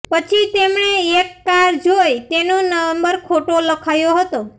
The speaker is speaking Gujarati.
પછી તેમણે એક કાર જોઇ જેનો નંબર ખોટો લખાયો હતો